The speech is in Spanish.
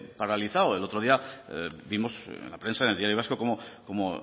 paralizado el otro día vimos en la prensa en el diario vasco cómo